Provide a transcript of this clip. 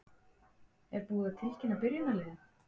Er búið að tilkynna byrjunarliðið?